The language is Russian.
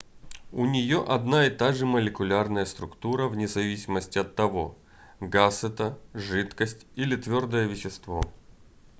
у нее одна и та же молекулярная структура вне зависимости от того газ это жидкость или твердое вещество